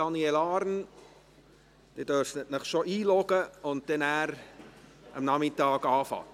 Daniel Arn, Sie dürfen sich schon in die Saalanlage einloggen und am Nachmittag beginnen.